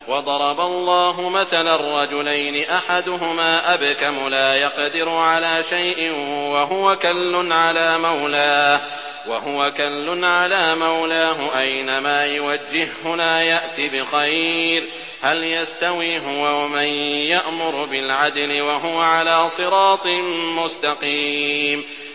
وَضَرَبَ اللَّهُ مَثَلًا رَّجُلَيْنِ أَحَدُهُمَا أَبْكَمُ لَا يَقْدِرُ عَلَىٰ شَيْءٍ وَهُوَ كَلٌّ عَلَىٰ مَوْلَاهُ أَيْنَمَا يُوَجِّههُّ لَا يَأْتِ بِخَيْرٍ ۖ هَلْ يَسْتَوِي هُوَ وَمَن يَأْمُرُ بِالْعَدْلِ ۙ وَهُوَ عَلَىٰ صِرَاطٍ مُّسْتَقِيمٍ